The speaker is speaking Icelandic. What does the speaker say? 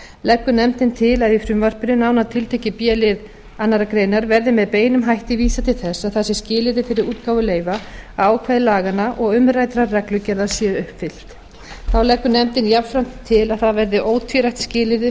leggur nefndin til að í frumvarpinu nánar tiltekið í b lið annarrar greinar verði með beinum hætti vísað til þess að það sé skilyrði fyrir útgáfu leyfa að ákvæði laganna og umræddrar reglugerðar séu uppfyllt þá leggur nefndin jafnframt til að það verði ótvírætt skilyrði